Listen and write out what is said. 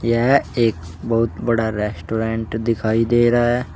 यह एक बहुत बड़ा रेस्टोरेंट दिखाई दे रहा है।